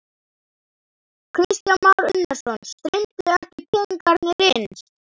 Kristján Már Unnarsson: Streymdu ekki peningarnir inn?